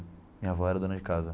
Minha avó era dona de casa.